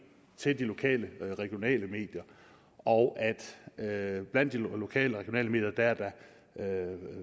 til de lokale og regionale medier og at der blandt de lokale og regionale medier er